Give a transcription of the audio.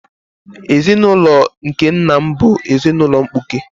Ezinaụlọ nke nna m bụ ezinaụlọ mkpuke.